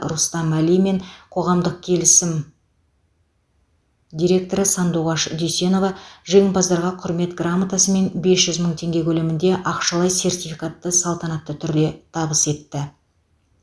рустам әли мен қоғамдық келісім директоры сандуғаш дүйсенова жеңімпаздарға құрмет грамотасы мен бес жүз мың теңге көлемінде ақшалай сертификатты салтанатты түрде табыс етті